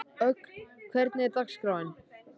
Ögn, hvernig er dagskráin?